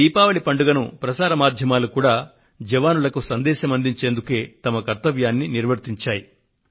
ఈ దీపావళి పండుగకు ప్రసార మాధ్యమాలు కూడా జవానులకు సందేశాన్ని అందించేందుకే వాటి కర్తవ్యాన్ని నిర్వర్తించాయి